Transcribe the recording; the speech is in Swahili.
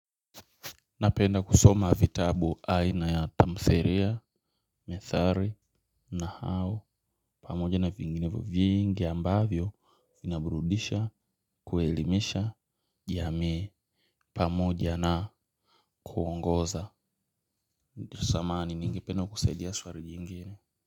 Napenda kusoma vitabu aina ya tamthilia, methali na hau pamoja na vinginevyo vingi ambavyo vinaburudisha kuelimisha jamii pamoja na kuongoza samahani ningependa kusaidia swali jingine.